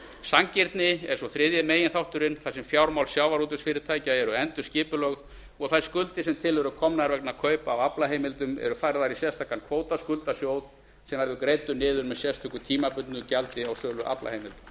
sanngirni er svo þriðji meginþátturinn þar sem fjármál sjávarútvegsfyrirtækja eru endurskipulögð og þær skuldir sem til eru komnar vegna kaupa á aflaheimildum eru færðar í sérstakan kvótaskuldasjóð sem verður greiddur niður með sérstöku tímabundnu gjaldi á sölu aflaheimilda